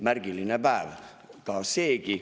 Märgiline päev seegi.